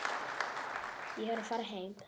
Ég er að fara heim.